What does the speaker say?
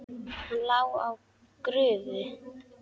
Hann lá á grúfu.